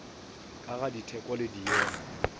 ka ga ditheko le diemo